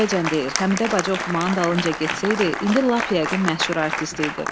Kişi indiyəcən deyir, Həmidə bacı oxumağın dalınca getsəydi, indi lap yəqin məşhur artist idi.